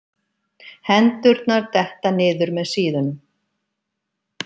Hendurnar detta niður með síðunum.